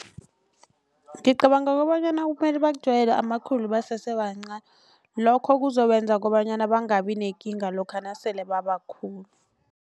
Ngicabanga kobanyana kumele bakujwayele amakhulu basesebancani lokho kuzobenza kobanyana bangabi nekinga lokha nasele babakhulu.